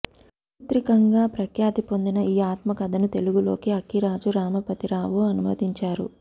చారిత్రికంగా ప్రఖ్యాతి పొందిన ఈ ఆత్మకథను తెలుగులోకి అక్కిరాజు రమాపతిరావు అనువదించారు